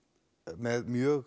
með mjög